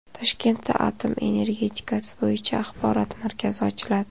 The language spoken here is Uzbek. Toshkentda atom energetikasi bo‘yicha axborot markazi ochiladi.